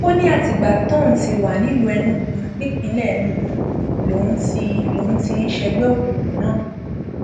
ó ní àtìgbà tóun ti wà nílùú enugu nípínlẹ enugu lòún ti lòún ti ń ṣègbè òkùnkùn náà